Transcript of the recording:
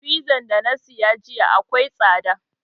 Fiza da na saya jiya akwai tsada